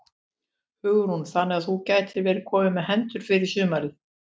Hugrún: Þannig að þú gætir verið kominn með hendur fyrir sumarið?